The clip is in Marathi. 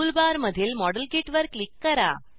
टूल बार मधील मॉडेलकिट वर क्लिक करा